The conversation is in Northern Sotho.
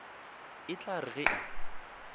e tla re ge e